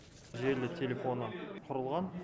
желілі телефоны құрылған